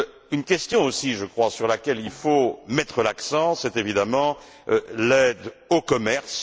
Une question aussi, je crois, sur laquelle il faut mettre l'accent, c'est évidemment l'aide au commerce.